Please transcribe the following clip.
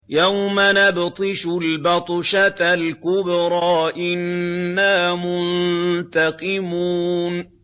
يَوْمَ نَبْطِشُ الْبَطْشَةَ الْكُبْرَىٰ إِنَّا مُنتَقِمُونَ